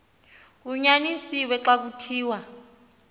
kunyanisiwe xa kuthiwa